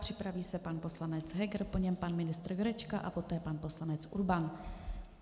Připraví se pan poslanec Heger, po něm pan ministr Jurečka a poté pan poslanec Urban.